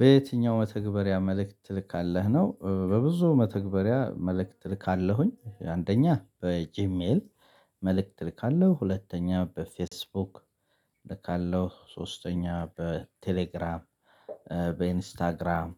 በየትኛው መተግበሪያ መልእክት ትልካለህ ነው? በብዙ መተግበሪያ መልእክት እልካለሁኝ አንደኛ በጂሜል መልእክት እልካለሁ። ሁለተኛ በፌስቡክ እልካለሁ። ሶስተኛ በቴሌግራም በኢንስታግራም